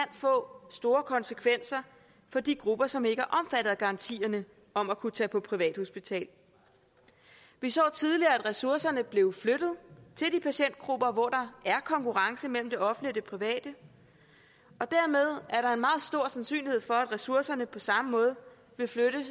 få store konsekvenser for de grupper som ikke er omfattet af garantierne om at kunne tage på privathospital vi så tidligere at ressourcerne blev flyttet til de patientgrupper hvor der er konkurrence mellem det offentlige og det private og dermed er der en meget stor sandsynlighed for at ressourcerne på samme måde vil flytte